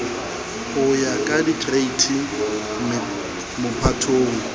ho ya ka dikereiti mephatong